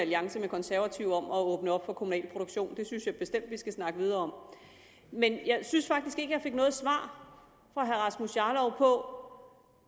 alliance med konservative om at åbne op for kommunal produktion det synes jeg bestemt vi skal snakke videre om men jeg synes faktisk ikke jeg fik noget svar fra herre rasmus jarlov på